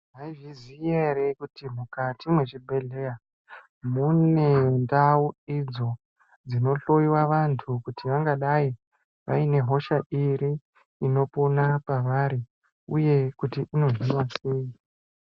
Maizviya ere kuti mukati mechibhedhlera mune ndau idzo dzinohloiwa vantu kuti vangadai vaine hosha iri inopona pawari uye kuti inohinwa sei.